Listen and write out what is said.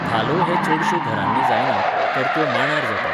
धालो हे चडश्यो घरांनी जायनात, तर त्यो मांडार जातात.